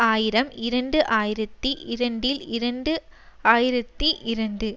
ஆயிரம் இரண்டு ஆயிரத்தி இரண்டில் இரண்டு ஆயிரத்தி இரண்டு